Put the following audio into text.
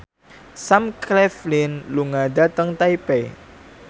Sam Claflin lunga dhateng Taipei